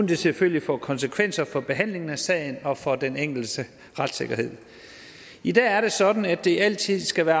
det selvfølgelig får konsekvenser for behandlingen af sagerne og for den enkeltes retssikkerhed i dag er det sådan at der altid skal være